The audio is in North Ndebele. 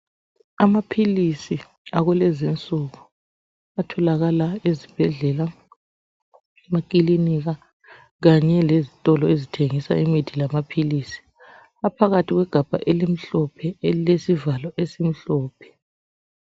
Amaphilizi akulezi insuku, atholakala ezibhedlela ,emakilinika kanye lezitolo ezithengisa imithi lamaphilisi, aphakathi kwegabha elimhlophe elilesivalo esimhlophe.